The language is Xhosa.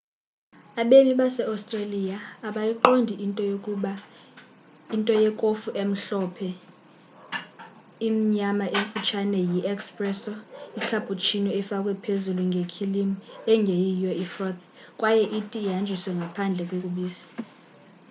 abemi base-australia abayiqondi into ‘yekofu emhlophe qhwa'. imnyama emfutshane yi 'espresso' icappuccino ifakwe phezulu ngekhilimu ingeyiyo ifroth kwaye iti ihanjiswe ngaphandle kobisi